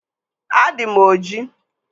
Adị m ojii